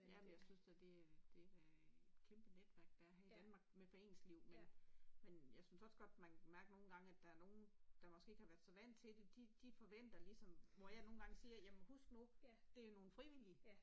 Ja, men jeg synes da det det da et kæmpe netværk der er her i Danmark med foreningsliv men men jeg synes også godt man kan mærke nogle gange at der er nogen, der måske ikke har været så vant til det, de de forventer ligesom, hvor jeg siger husk nu det jo nogle frivillige